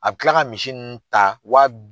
A bi kila ka misi ninnu ta wa